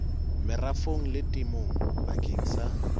merafong le temong bakeng sa